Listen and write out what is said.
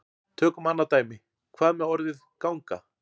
Tökum annað dæmi: Hvað með orðið ganga?